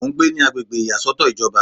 Mo ń gbé ní agbègbè ìyàsọ́tọ̀ ìjọba